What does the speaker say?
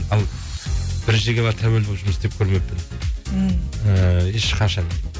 ал бір жерге барып тәуелді болып жұмыс істеп көрмеппін м і ешқашан